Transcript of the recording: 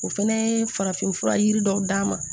O fɛnɛ ye farafinfura yiri dɔw d'an ma